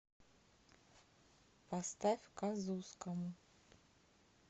поставь казускому